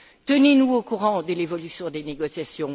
Tenez nous au courant de l'évolution des négociations.